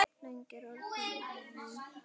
Löng er orðin mín ferð.